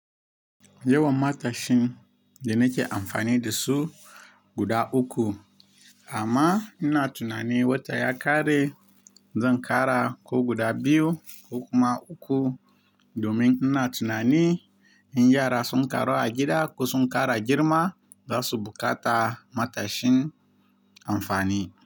Yawan matashin da nake amfani da su guda uku amma ina tunanin wata ya ƙare. Zan ƙara ko guda biyu ko kuma uku domin ina tunanin in yara sun ƙaru a gida ko sun ƙara girma za su buƙata matashin amfani.